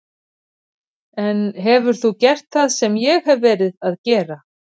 En hefur þú gert það sem ég hef verið að gera?